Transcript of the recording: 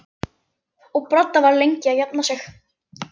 Branda var lengi að jafna sig.